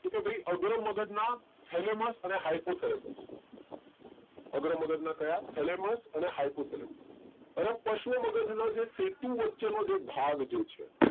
તો કે ભાઈ અગ્ર મગજ ના thalamus અને hypothalamus અગ્ર મગજ ના thalamus અને hypothalamus અને પશ્વ મગજ ના જે સેતુ વચ્ચે નો જે ભાગ છે